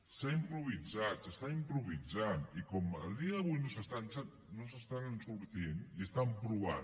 s’ha improvisat s’està improvisant i com a dia d’avui no se n’estan sortint i estan provant